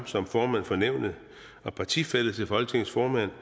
som formand for nævnet og partifælle til folketingets formand